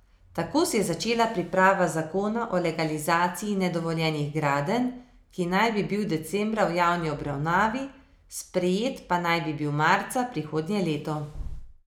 Tako se je začela priprava zakona o legalizaciji nedovoljenih gradenj, ki naj bi bil decembra v javni obravnavi, sprejet pa naj bi bil marca prihodnje leto.